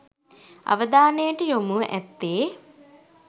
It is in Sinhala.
අවධානයට යොමුව ඇත්තේ